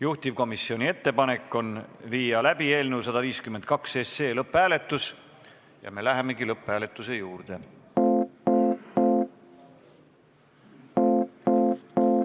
Juhtivkomisjoni ettepanek on viia läbi eelnõu 152 SE lõpphääletus ja me lähemegi lõpphääletuse juurde.